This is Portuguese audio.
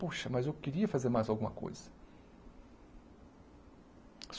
Poxa, mas eu queria fazer mais alguma coisa.